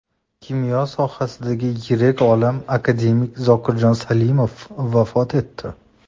Kimyo sohasidagi yirik olim, akademik Zokirjon Salimov vafot etdi.